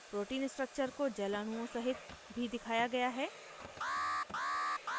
protein structure को जल अणुओं सहित भी दिखाया गया है